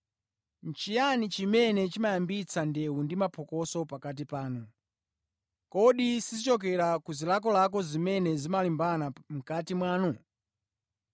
Nʼchiyani chimene chimayambitsa ndewu ndi mapokoso pakati panu? Kodi sizichokera ku zilakolako zimene zimalimbana mʼkati mwanu?